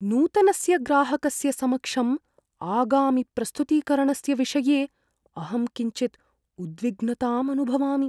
नूतनस्य ग्राहकस्य समक्षम् आगामिप्रस्तुतीकरणस्य विषये अहं किञ्चिद् उद्विग्नताम् अनुभवामि।